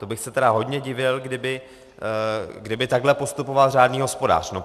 To bych se tedy hodně divil, kdyby takhle postupoval řádný hospodář.